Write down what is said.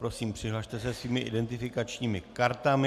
Prosím, přihlaste se svými identifikačními kartami.